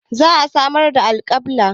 Za a samar da alkabba.